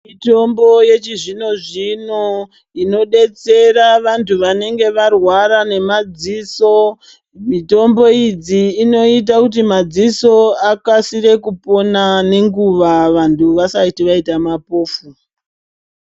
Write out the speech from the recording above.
Mitombo yechizvino zvino inodetsera vanthu vanenge varwara nemaziso mitombo idzi dzinoita kuti madziso akasire kupona nenguva vanhu vasati vaita mapofu.